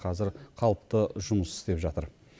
қазір қалыпты жұмыс істеп жатыр